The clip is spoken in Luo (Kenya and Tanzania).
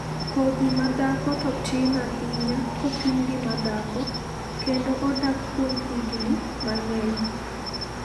Kodhi ma dhako to tin ahinya kopim gi ma dhako, kendo odak kuom higini mang'eny.